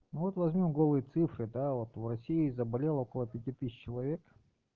вот возьмём голые цифры да вот в россии заболело около пяти тысяч человек